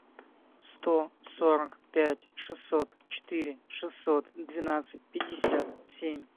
сто сорок пять шестьсот четыре шестьсот двенадцать пятьдесят семь